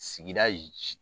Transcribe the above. Sigida i j